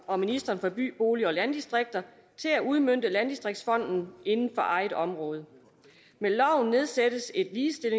og ministeren for by bolig og landdistrikter til at udmønte landdistriktsfonden inden for eget område med loven nedsættes et